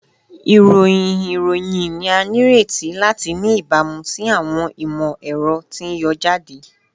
Irohin iroyin ni a nireti lati ni ibamu si awọn imọ-ẹrọ ti n yọ jade